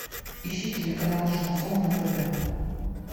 ищи телеканал шансон на тв